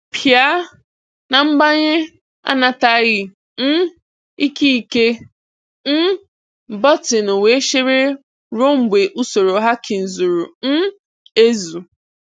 Pịa na "Mbanye anataghị um ikike!" um bọtịnụ wee chere ruo mgbe usoro hacking zuru um ezu.